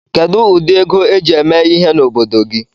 Kedụ ụdị ego eji eme ihe n'obodo gị?